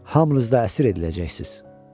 Hamınız da əsir ediləcəksiniz.